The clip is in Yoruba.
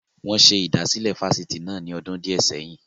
Wọn ṣe ìdásílẹ́ Fásitì náà ni ọdún di ẹ sẹ́yìn